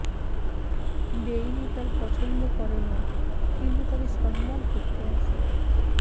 Bailey তার পছন্দ করেন না কিন্তু তাকে সম্মান করতে আসে